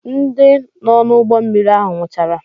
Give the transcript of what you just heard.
Ndị nọ n'ụgbọmmiri ahụ nwụchara.